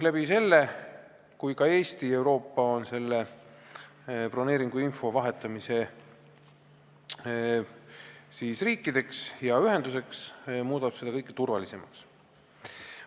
Kui ka Eestist saab riik, kes seda broneeringuinfot ühenduse sees teistega vahetab, muudab see Euroopa turvalisemaks.